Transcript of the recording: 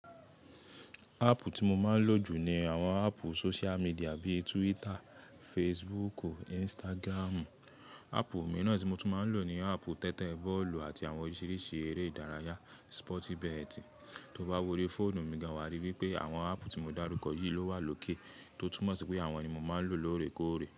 Ápù tí mo máa ń lò jù ni àwọn ápù social media bíi Twitter, Facebook, Instagram. Ápù mìíràn tí mo tún máa ń lò ni ápù tẹ́tẹ́ bọ́ọ̀lù àti àwọn oríṣiríṣi eré ìdárayá, sporti betti. To bá wo orí fóònù mi, gan wà á ríi wípé àwọn ápù tí mo dárúkọ yìí ló wà lókè, tó túmọ̀ sí pé àwọn ni mo máa ń lò lóore kóòrè.